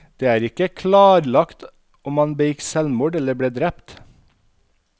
Det er ikke klarlagt om han begikk selvmord eller ble drept.